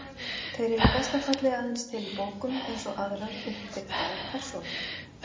Þeir eru í besta falli aðeins til í bókum, eins og aðrar uppdiktaðar persónur.